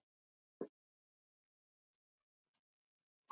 Að hlýða sínu kalli